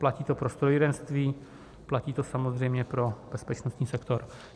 Platí to pro strojírenství, platí to samozřejmě pro bezpečnostní sektor.